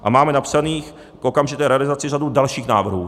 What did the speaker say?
A máme napsaných k okamžité realizaci řadu dalších návrhů.